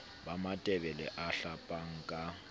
ba matebele a hlapang ka